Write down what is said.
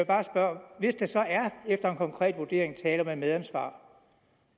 bare spørge hvis der så efter en konkret vurdering er tale om et medansvar